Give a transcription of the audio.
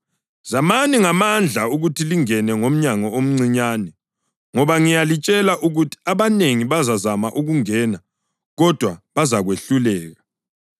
“Zamani ngamandla ukuthi lingene ngomnyango omncinyane, ngoba ngiyalitshela ukuthi abanengi bazazama ukungena kodwa bazakwehluleka.